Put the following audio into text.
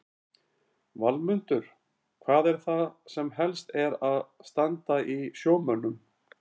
Valmundur, hvað er það sem helst er að standa í sjómönnum?